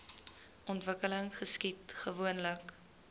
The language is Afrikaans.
ontwikkeling geskied gewoonlik